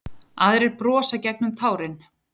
Aðrir brosa gegnum tárin.